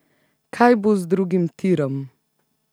Kaj bo z drugim tirom?